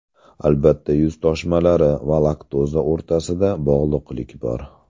Albatta, yuz toshmalari va laktoza o‘rtasida bog‘liqlik bor.